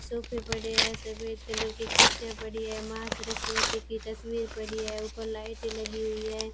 सोफे पड़े है सफेद कलर की कुर्सिया पड़ी है मां सरस्वती की तस्वीर पड़ी है ऊपर लाइट लगी हुई है।